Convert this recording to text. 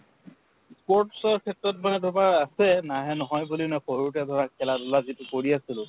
sports ৰ ক্ষেত্ৰত মানে আছে, নাহে নহয় বুলি ন সৰুত ধৰা খেলাধুলা যিটো কৰি আছিলোঁ।